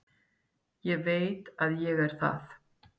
Ég veit að ég er það.